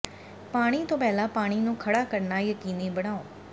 ਪਾਣੀ ਤੋਂ ਪਹਿਲਾਂ ਪਾਣੀ ਨੂੰ ਖੜ੍ਹਾ ਕਰਨਾ ਯਕੀਨੀ ਬਣਾਓ